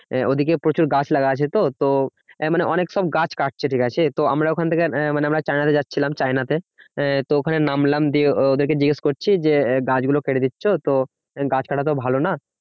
ওদিকে প্রচুর গাছ লাগা আছে তো মানে অনেক সব গাছ কাটছে। ঠিকাছে? তো আমরা ওখান থেকে আহ মানে আমরা চায়না যাচ্ছিলাম চায়নাতে আহ তো ওখানে নামলাম দিয়ে ও~ওদেরকে জিজ্ঞেস করছি যে গাছ গুলো কেটে দিচ্ছো তো গাছ কাটা তো ভালো না